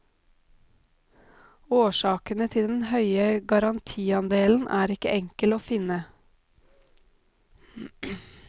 Årsakene til den høye garantiandelen er ikke enkle å finne.